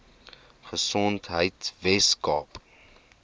gesondheidweskaap